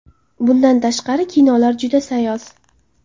Bundan tashqari kinolar juda sayoz.